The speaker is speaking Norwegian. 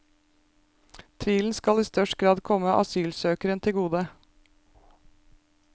Tvilen skal i større grad komme asylsøkeren til gode.